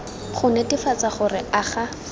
go netefatsa gore a ga